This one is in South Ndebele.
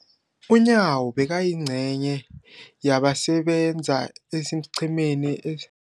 UNyawo bekayingcenye yabasebenza esiqhemeni es